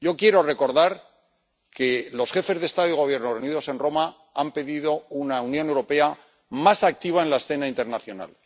Yo quiero recordar que los jefes de Estado y de Gobierno, reunidos en Roma, han pedido una Unión Europea más activa en la escena internacional.